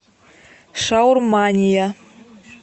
шаурмания